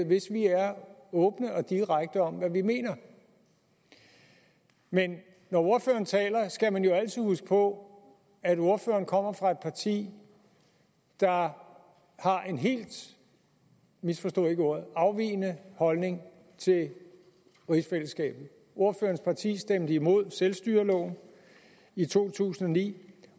hvis vi er åbne og direkte om hvad vi mener men når ordføreren taler skal man jo altid huske på at ordføreren kommer fra et parti der har en helt og misforstå ikke ordet afvigende holdning til rigsfællesskabet ordførerens parti stemte imod selvstyreloven i to tusind og ni